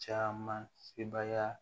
Caman sebaya